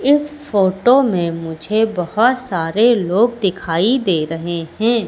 इस फोटो में मुझे बहोत सारे लोग दिखाई दे रहे हैं।